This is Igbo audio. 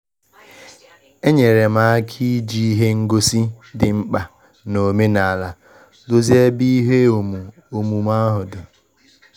Enyere m aka iji ihe ngosi dị mkpa na omenala dozie ebe ihe omu omume ahụ.